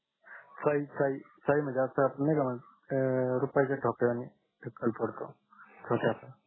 चाई चाई म्हणजे असा नाही का म्हणजे रूपयाच्या डोकड्याने टक्कल पडतो डोक्याच्या